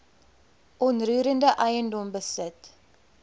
onroerende eiendom besit